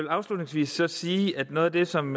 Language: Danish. afslutningsvis sige at noget af det som